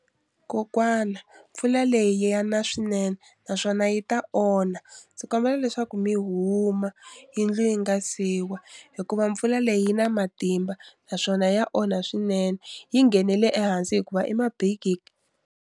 Kokwana mpfula leyi ya na swinene naswona yi ta onha ndzi kombela leswaku mi huma yindlu yi nga si wa hikuva mpfula leyi yi na matimba naswona ya onha swinene yi nghenele ehansi hikuva .